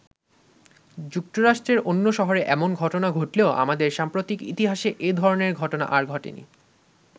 যুক্তরাষ্ট্রের অন্য শহরে এমন ঘটনা ঘটলেও আমাদের সাম্প্রতিক ইতিহাসে এধরনের ঘটনা আর ঘটেনি।